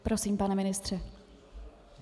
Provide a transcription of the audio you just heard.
Prosím, pane ministře.